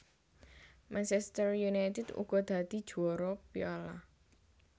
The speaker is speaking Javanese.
Manchester United uga dadi juwara Piala